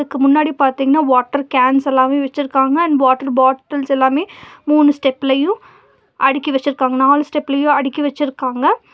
அதுக்கு முன்னாடி பாத்தீங்ன்னா வாட்டர் கேன்சஸ் எல்லாமே வெச்சிருக்காங்க அண்ட் வாட்டர் பாட்டில்ஸ் எல்லாமே மூணு ஸ்டெப்லயு அடுக்கி வெச்சிருக்காங்க நாலு ஸ்டெப்லயு அடுக்கி வெச்சிருக்காங்க.